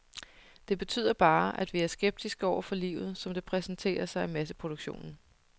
Det betyder bare, at vi er skeptiske over for livet, som det præsenterer sig i masseproduktion.